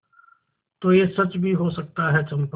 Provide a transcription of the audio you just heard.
तो यह सच भी हो सकता है चंपा